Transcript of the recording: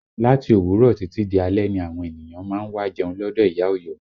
Láti òwúrọ̀ títí di alẹ́ ni àwọn ènìyàn má ń wá jẹun lọdọ ìyá Ọ̀yọ́